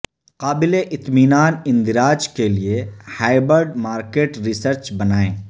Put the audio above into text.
قابل اطمینان اندراج کے لئے ہائبرڈ مارکیٹ ریسرچ بنائیں